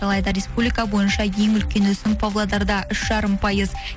алайда республика бойынша ең үлкен өсім павлодарда үш жарым пайыз